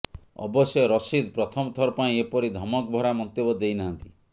ଅବଶ୍ୟ ରସିଦ୍ ପ୍ରଥମଥର ପାଇଁ ଏପରି ଧମକଭରା ମନ୍ତବ୍ୟ ଦେଇନାହାନ୍ତି